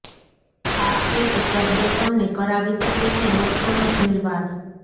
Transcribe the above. આ એક શબ્દ તમને કરાવી શકે છે વર્ષોનો જેલવાસ